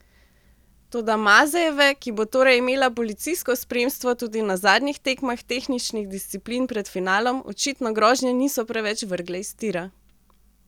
Toda Mazejeve, ki bo torej imela policijsko spremstvo tudi na zadnjih tekmah tehničnih disciplin pred finalom, očitno grožnje niso preveč vrgle iz tira.